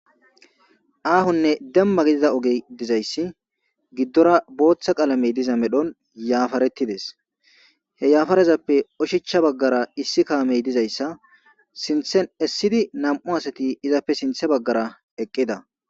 Aahonne demma gidida oge dizayssi giddora booththa qaalamey diza medhon yaafaretides he yaafarezappe oshecha baggara issi kaamey dizayssa sinthen essidi nam'u asati izappe sinthe baggara eqqida.